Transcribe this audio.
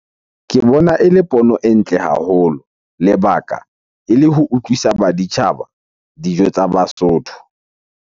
Ke bona ele pono e ntle haholo. Lebaka ele ho utlwisa baditjhaba dijo tsa Basotho.